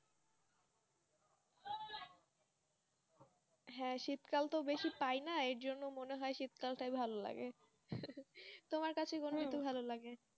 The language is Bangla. হ্যাঁ শীতকালটা তো বেশি পায় না এর জন্য মনে হয় শীতকালে টাই ভালো লাগে তোমার কাছে কোন ঋতু ভালো লাগে?